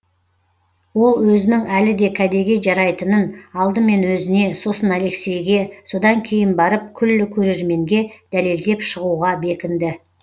ол өзінің әлі де кәдеге жарайтынын алдымен өзіне сосын алексейге содан кейін барып күллі көрерменге дәлелдеп шығуға бекінді